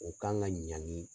O kan ka ɲangi